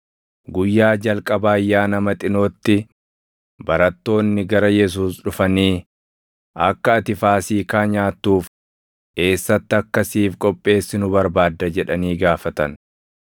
Guyyaa jalqaba Ayyaana Maxinootti barattoonni gara Yesuus dhufanii, “Akka ati Faasiikaa nyaattuuf eessatti akka siif qopheessinu barbaadda?” jedhanii gaafatan.